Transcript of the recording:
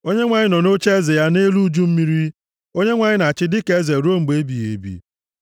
Onyenwe anyị nọ nʼocheeze ya nʼelu uju mmiri; Onyenwe anyị na-achị dịka eze ruo mgbe ebighị ebi.